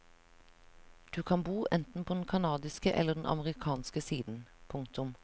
Du kan bo enten på den kanadiske eller den amerikanske siden. punktum